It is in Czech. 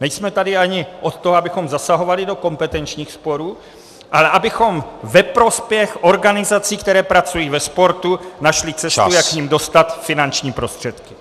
Nejsme tady ani od toho, abychom zasahovali do kompetenčních sporů, ale abychom ve prospěch organizací, které pracují ve sportu, našli cestu, jak k nim dostat finanční prostředky.